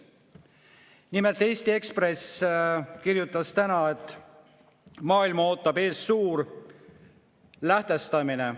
Nimelt, Eesti Ekspress kirjutas täna, et maailma ootab ees suur lähtestamine.